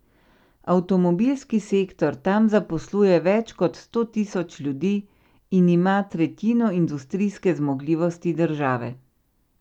Avtomobilski sektor tam zaposluje več kot sto tisoč ljudi in ima tretjino industrijske zmogljivosti države.